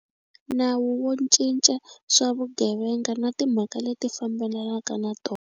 Nawu wo Cinca swa Vugevenga na Timhaka leti Fambelanaka na Tona.